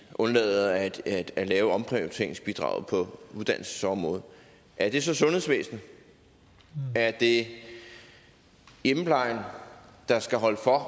undlade at at lave omprioriteringsbidraget på uddannelsesområdet er det så sundhedsvæsenet er det hjemmeplejen der skal holde for